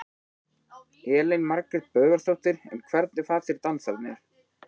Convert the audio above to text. Elín Margrét Böðvarsdóttir: En hvernig fannst þér dansararnir?